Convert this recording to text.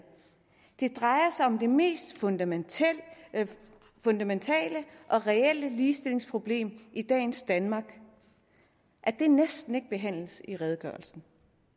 det drejer sig om at det mest fundamentale fundamentale og reelle ligestillingsproblem i dagens danmark næsten ikke behandles i redegørelsen